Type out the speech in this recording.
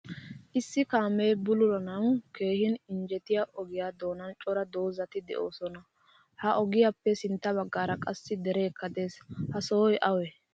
Issi kaame bululanawu keehin injjettiya ogiya doonan cora dozati deosona. Ha ogiyappe sintta baggaara qassi derekka de'ees. Ha sohoy awe?